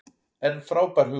En frábær hugmynd.